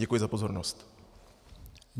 Děkuji za pozornost.